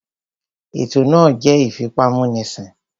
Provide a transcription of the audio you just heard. Ètò náà jẹ́ ìfipámúnisìn